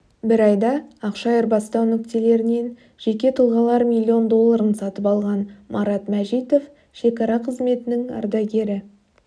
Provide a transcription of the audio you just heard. бір айда ақша айырбастау нүктелерінен жеке тұлғалар миллион долларын сатып алған марат мәжитов шекара қызметінің ардагері